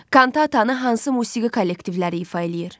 Kantatanı hansı musiqi kollektivləri ifadə eləyir?